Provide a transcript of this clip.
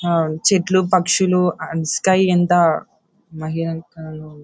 అహ్హ్ చెట్లు పక్షులు and sky in the --